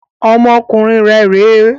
Ọmọkùnrin rẹ rè é!